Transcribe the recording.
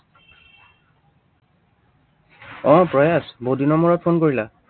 আহ প্ৰয়াস, বহুতদিনৰ মূৰত phone কৰিলা।